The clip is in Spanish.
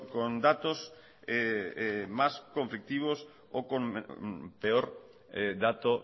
con datos más conflictivos o con peor dato